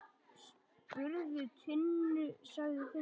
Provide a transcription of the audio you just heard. Spurðu Tinnu, sagði Finnur.